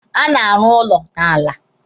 A na-arụ ụlọ n'ala.